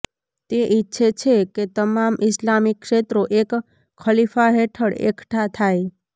તે ઇચ્છે છે કે તમામ ઇસ્લામી ક્ષેત્રો એક ખલીફા હેઠળ એકઠાં થાય